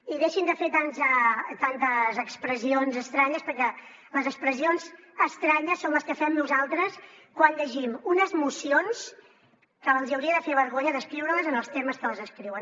i deixin de fer tantes expressions estranyes perquè les expressions estranyes són les que fem nosaltres quan llegim unes mocions que els hi hauria de fer vergonya d’escriure en els termes que les escriuen